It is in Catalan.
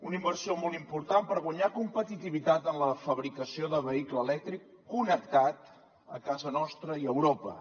una inversió molt important per guanyar competitivitat en la fabricació de vehicle elèctric connectat a casa nostra i a europa